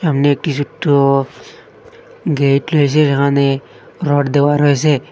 নেটযুক্ত gate রয়েছে যেখানে rod দেওয়া রয়েসে।